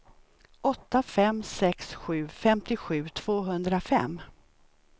åtta fem sex sju femtiosju tvåhundrafem